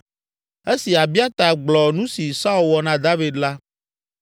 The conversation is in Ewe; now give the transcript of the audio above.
Esi Abiata gblɔ nu si Saul wɔ na David la,